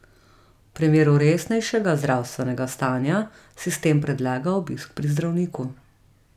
V primeru resnejšega zdravstvenega stanja, sistem predlaga obisk pri zdravniku.